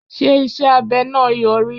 Ṣé iṣẹ́ abẹ náà Yọrí.?